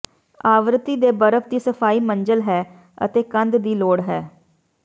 ਆਵਰਤੀ ਦੇ ਬਰਫ ਦੀ ਸਫਾਈ ਮੰਜ਼ਿਲ ਹੈ ਅਤੇ ਕੰਧ ਦੀ ਲੋੜ ਹੈ